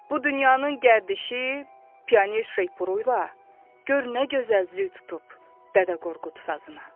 Bu dünyanın gərdişi piyaner şırpuyla gör nə gözəl züy tutub Dədə Qorqud sazına.